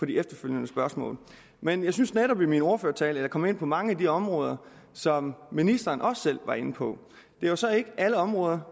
de efterfølgende spørgsmål men jeg synes netop i min ordførertale kom ind på mange af de områder som ministeren også selv var inde på det er jo så ikke alle områder